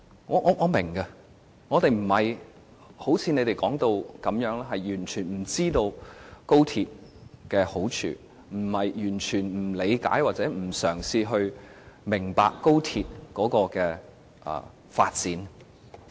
我們並非如你們說的那樣，完全不知道高鐵的好處，並非完全不理解或不嘗試明白高鐵的發展。